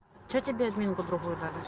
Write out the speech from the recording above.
что тебе админку другую дали